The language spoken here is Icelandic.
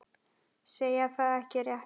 Segja það ekki rétt.